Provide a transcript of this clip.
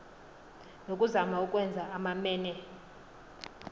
ngakuzama ukwenza amamene